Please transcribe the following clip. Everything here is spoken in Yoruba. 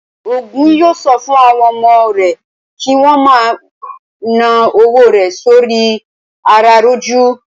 Ògún yóò sọ fún àwọn ọmọ rẹ̀ kí wón ma ná owó rẹ̀ sóri i àràràjù